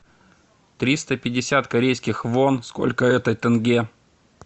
триста пятьдесят корейских вон сколько это тенге